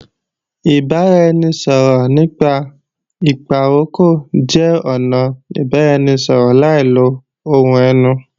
Ìbáraẹnisọ̀rọ̀ nípa ìpàrokò jẹ́ ọnà ìbáraẹnisọ̀rọ̀ láì lo ohùn ẹnu